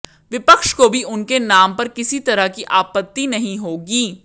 विपक्ष को भी उनके नाम पर किसी तरह की आपत्ति नहीं होगी